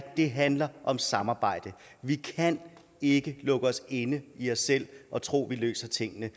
det handler om samarbejde vi kan ikke lukke os inde i os selv og tro at vi løser tingene